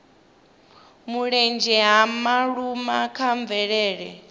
mulenzhe ha vhaaluwa kha mvelele